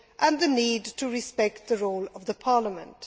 and the need to respect the role of the Parliament.